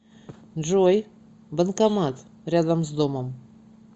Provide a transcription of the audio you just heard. джой банкомат рядом с домом